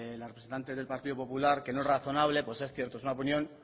la representante del partido popular que no es razonable pues es cierto es una opinión